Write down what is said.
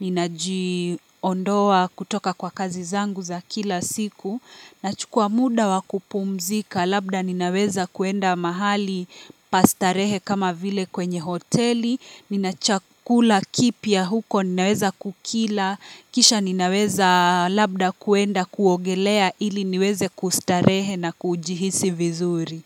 ninajiondoa kutoka kwa kazi zangu za kila siku, nachukua muda wa kupumzika, labda ninaweza kuenda mahali pa starehe kama vile kwenye hoteli, nina chakula kipya huko ninaweza kukila, kisha ninaweza labda kuenda kuogelea ili niweze kustarehe na kujihisi vizuri.